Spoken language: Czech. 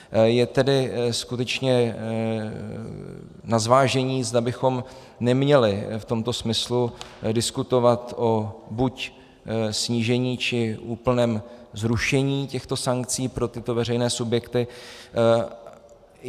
Je tedy skutečně na zvážení, zda bychom neměli v tomto smyslu diskutovat o buď snížení, či úplném zrušení těchto sankcí pro tyto veřejné subjekty.